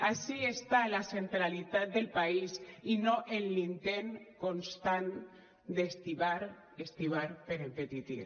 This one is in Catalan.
ací està la centralitat del país i no en l’intent constant d’estibar estibar per empetitir